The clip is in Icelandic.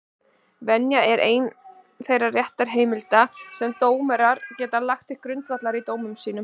Venja er ein þeirra réttarheimilda sem dómarar geta lagt til grundvallar í dómum sínum.